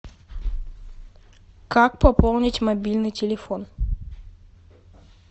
как пополнить мобильный телефон